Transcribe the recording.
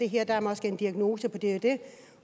her er der måske en diagnose på det